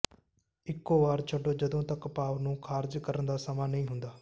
ਇਕੋ ਵਾਰ ਛੱਡੋ ਜਦੋਂ ਤੱਕ ਭਾਫ਼ ਨੂੰ ਖਾਰਜ ਕਰਨ ਦਾ ਸਮਾਂ ਨਹੀਂ ਹੁੰਦਾ